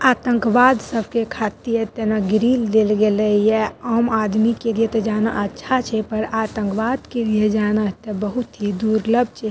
आतंकवाद सबके खातिर एतना ग्रील देल गेलई ये आम आदमी के लिए तो जाना अच्छा छे पर आतंकवाद के लिए जाना त बहुत ही दुर्लभ छे।